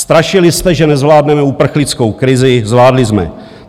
Strašili jsme, že nezvládneme uprchlickou krizi - zvládli jsme.